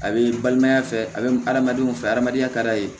A bɛ n balimaya fɛ a bɛ hadamadenw fɛ adamadenya ka d'a ye